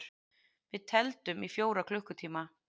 Við tefldum í fjóra klukkutíma!